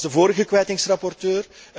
Ik was de vorige kwijtingsrapporteur.